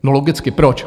No logicky - proč?